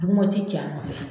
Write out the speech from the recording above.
Dugumɔ tɛ cɛ a nɔfɛ